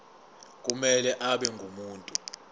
kumele abe ngumuntu